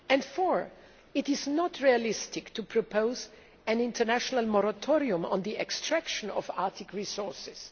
Fourthly, it is not realistic to propose an international moratorium on the extraction of Arctic resources.